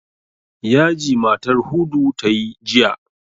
Yaji matar Hudu ta yi jiya.